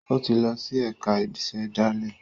O tí lọ si ẹka ìsèdálè